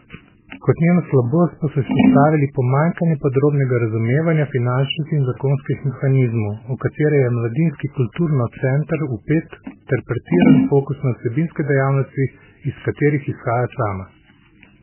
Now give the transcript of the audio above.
Kot njeno slabost pa so izpostavili pomanjkanje podrobnega razumevanja finančnih in zakonskih mehanizmov, v katere je mladinski kulturno center vpet, ter pretiran fokus na vsebinske dejavnosti, iz katerih izhaja sama.